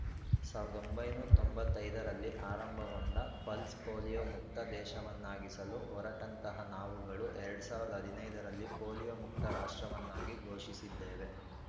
ಸಾವಿರದ ಒಂಬೈನೂರು ತೊಂಬತ್ತ್ ಐದು ರಲ್ಲಿ ಆರಂಭಗೊಂಡ ಪಲ್ಸ್ ಪೋಲಿಯೋ ಮುಕ್ತ ದೇಶವನ್ನಾಗಿಸಲು ಹೊರಟಂತಹ ನಾವುಗಳು ಎರಡ್ ಸಾವಿರದ ಹದಿನೈದರಲ್ಲಿ ಪೋಲಿಯೋ ಮುಕ್ತ ರಾಷ್ಟ್ರವನ್ನಾಗಿ ಘೋಷಿಸಿದ್ದೇವೆ